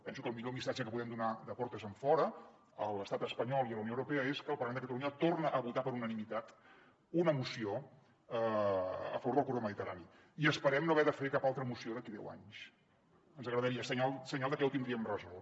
penso que el millor missatge que podem donar de portes enfora a l’estat espanyol i a la unió europea és que el parlament de catalunya torna a votar per unanimitat una moció a favor del corredor mediterrani i esperem no haver de fer cap altra moció d’aquí a deu anys ens agradaria senyal de que ho tindríem resolt